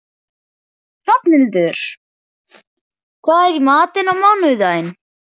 Hrafnhildur, hvað er í matinn á mánudaginn?